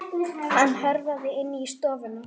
Hann hörfaði inn í stofu.